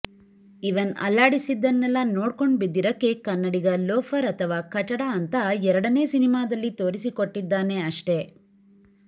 ಇವನ್ ಅಲ್ಲಾಡಿಸಿದ್ದನ್ನೆಲ್ಲ ನೋಡ್ಕೊಂಡ್ ಬಿದ್ದಿರಕ್ಕೆ ಕನ್ನಡಿಗ ಲೋಫರ್ ಅಥವಾ ಕಚಡಾ ಅಂತ ಎರಡನೇ ಸಿನಿಮಾದಲ್ಲಿ ತೋರಿಸಿಕೊಟ್ಟಿದ್ದಾನೆ ಅಷ್ಟೇ